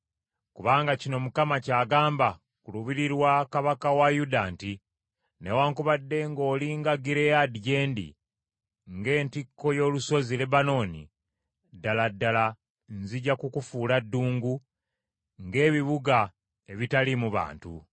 Kubanga kino Mukama ky’agamba ku lubiri lwa kabaka wa Yuda nti, “Newaakubadde ng’oli nga Gireyaadi gye ndi, ng’entikko y’olusozi Lebanooni, ddala ddala nzija kukufuula ddungu, ng’ebibuga ebitaliimu bantu.